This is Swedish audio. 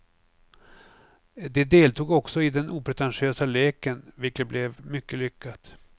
De deltog också i den opretentiösa leken vilket blev mycket lyckat.